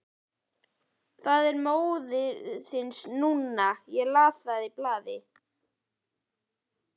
Það er móðins núna, ég las það í blaði.